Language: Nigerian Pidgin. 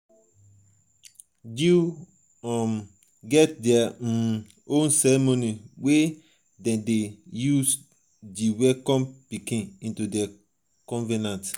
jews um get their um own ceremony wey dem de de use welcome di pikin into their convenant